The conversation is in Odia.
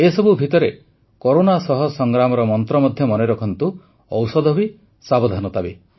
ଏସବୁ ଭିତରେ କରୋନା ସହ ସଂଗ୍ରାମର ମନ୍ତ୍ର ମଧ୍ୟ ମନେ ରଖନ୍ତୁ ଔଷଧ ବି ସାବଧାନତା ବି